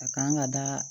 A kan ka da